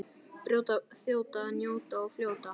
Brjóta, þjóta, njóta og fljóta.